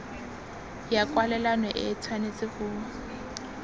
ya kwalelano e tshwanetse go